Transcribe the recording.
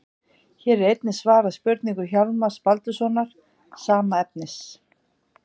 Hér er einnig svarað spurningu Hjálmars Baldurssonar, sama efnis.